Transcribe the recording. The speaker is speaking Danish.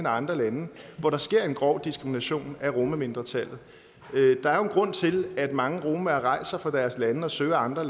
og andre lande hvor der sker en grov diskrimination af romamindretallet der er jo en grund til at mange romaer rejser fra deres lande og søger andre